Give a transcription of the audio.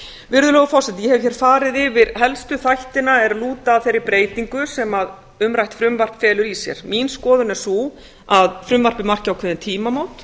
virðulegi forseti ég hef farið yfir helstu þættina sem lúta að þeirri breytingu sem umrætt frumvarp felur í sér mín skoðun er sú að frumvarpið marki ákveðin tímamót